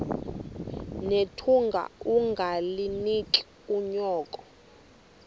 nethunga ungalinik unyoko